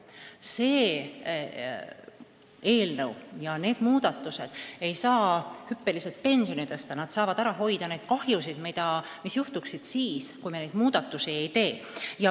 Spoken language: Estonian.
Selle eelnõuga ette nähtud muudatused ei saa hüppeliselt pensioni tõsta, aga need saavad ära hoida kahju, mis tekiks siis, kui me neid muudatusi ei teeks.